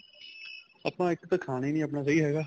ਆਪਾਂ ਇੱਕ ਤਾਂ ਖਾਣਾ ਹੀ ਨਹੀਂ ਆਪਣਾ ਸਹੀਂ ਹੈਗਾ